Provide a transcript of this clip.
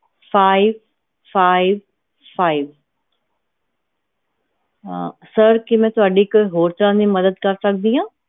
fivefivefive ਅਹ sir ਕੀ ਮੈਂ ਤੁਹਾਡੀ ਕੋਈ ਹੋਰ ਤਰ੍ਹਾਂ ਦੀ ਮਦਦ ਕਰ ਸਕਦੀ ਆ?